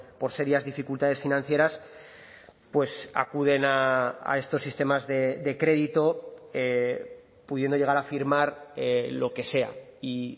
por serias dificultades financieras pues acuden a estos sistemas de crédito pudiendo llegar a firmar lo que sea y